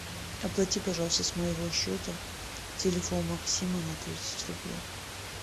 оплати пожалуйста с моего счета телефон максима на тридцать рублей